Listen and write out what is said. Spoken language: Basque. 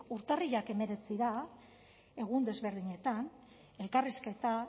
urtarrilak hemeretzira egun desberdinetan elkarrizketak